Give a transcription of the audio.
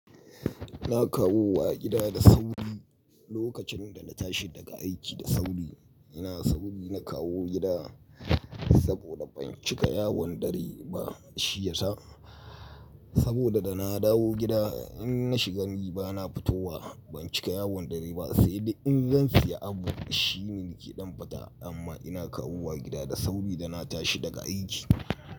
Na kawo wa gida da sauri lokacin da na tashi daga aiki da sauri. Ina sauri na kawo gida saboda ban cika yawon dare ba, shiyasa saboda da na dawo gida in na shiga ni ba na fito wa ban cika yawon dare ba, sai dai in zan siya abu shi ne ni ke ɗan fita amma ina kawo wa gida da sauri da na tashi daga aiki.